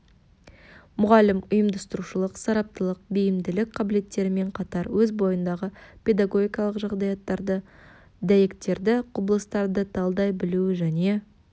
мұғалім ұйымдастырушылық сараптылық бейімділік қабілеттерімен қатар өз бойындағы педагогикалық жағдаяттарды дәйектерді құбылыстарды талдай білуі және